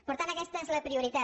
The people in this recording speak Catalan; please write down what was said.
per tant aquesta és la prioritat